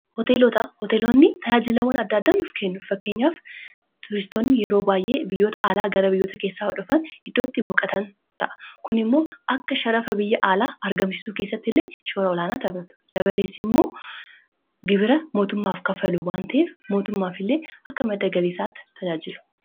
hlhooteeloonni tajaajilawwan addaaddaanuuf kennu fakkeenyaaf tuuristoonni yeroo baay'ee biyyoota aalaa gara biyyoota keessaa hodhafan iddootti boqatan ta'a kun immoo akka sharafa biyya aalaa argamsiisuu keessatti illee shoara olaanaa tabadu dabaleessi immoo gibira mootummaaf kafalu wantee mootummaaf illee akka maddagaliisaatti tajaajilu